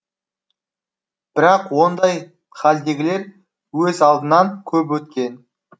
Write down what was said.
бірақ ондай халдегілер өз алдынан көп өткен